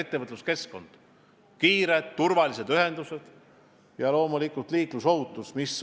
Prioriteet on kiired turvalised ühendused ja loomulikult liiklusohutus.